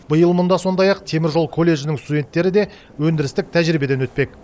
биыл мұнда сондай ақ теміржол колледжінің студенттері де өндірістік тәжірибеден өтпек